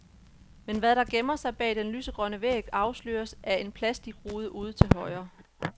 Men hvad der gemmer sig bag den lysegrønne væg, afsløres af en plastikrude ude til højre.